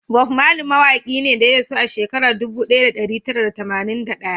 Bob Marley mawaki ne da ya rasu a shekara dubu daya da dari tara da tamanin da daya